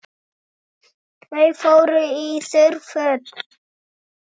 Þau fóru í þurr föt.